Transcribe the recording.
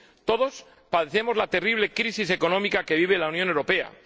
Todos padecemos la terrible crisis económica que vive la Unión Europea.